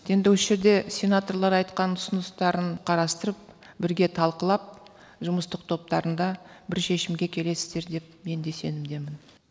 енді осы жерде сенаторлар айтқан ұсыныстарын қарастырып бірге талқылап жұмыстық топтарында бір шешімге келесіздер деп мен де сенімдемін